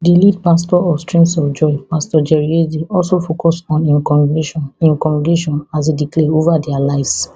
di lead pastor of streams of joy pastor jerry eze also focus on im congregation im congregation as e declare over dia lives